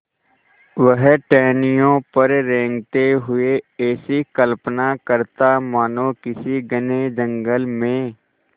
वह टहनियों पर रेंगते हुए ऐसी कल्पना करता मानो किसी घने जंगल में